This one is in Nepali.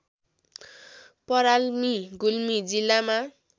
पराल्मी गुल्मी जिल्लामा